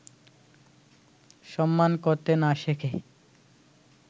সম্মান করতে না শেখে